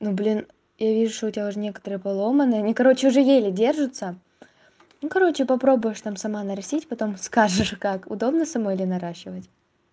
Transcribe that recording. ну блин я вижу у тебя уже некоторые поломаны они короче уже еле держатся ну короче попробуешь там сама нарастить потом скажешь как удобно самой ли наращивать